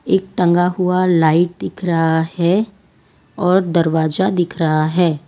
एक टंगा हुआ लाइट दिख रहा हैं और दरवाजा दिख रहा हैं।